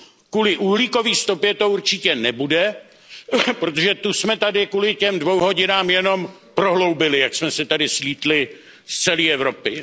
Kvůli uhlíkové stopě to určitě nebude, protože tu jsme tady kvůli těm dvěma hodinám jenom prohloubili, jak jsme se sem slétli z celé Evropy.